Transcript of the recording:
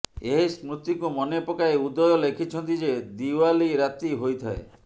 ଏହି ସ୍ମୃତିକୁ ମନେ ପକାଇ ଉଦୟ ଲେଖିଛନ୍ତି ଯେ ଦିୱାଲି ରାତି ହୋଇଥାଏ